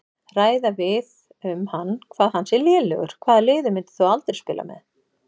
Ræða við um hann hvað hann sé lélegur Hvaða liði myndir þú aldrei spila með?